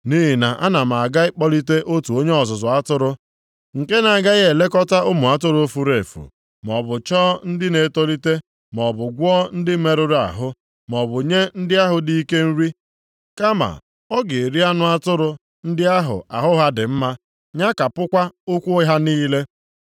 nʼihi na ana m aga ịkpọlite otu onye ọzụzụ atụrụ nke na-agaghị elekọta ụmụ atụrụ furu efu, maọbụ chọọ ndị na-etolite, maọbụ gwọọ ndị merụrụ ahụ, maọbụ nye ndị ahụ dị ike nri. Kama ọ ga-eri anụ atụrụ ndị ahụ ahụ ha dị mma, nyakapụkwa ụkwụ ha niile.